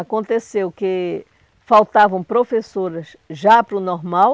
Aconteceu que faltavam professoras já para o normal,